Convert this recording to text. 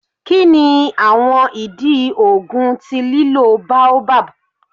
Kini awọn idi oogun ti lilo baobab?